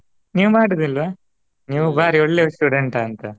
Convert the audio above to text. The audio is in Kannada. ನೀವ್ ಮಾಡಿರಲಿಲ್ವಾ ನೀವು ಬಾರಿ ಒಳ್ಳೆ student ಅಂತಾ.